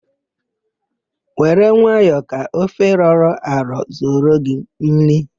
Were nwayọ ka ofe rọrọ arọ zuoro gị nri!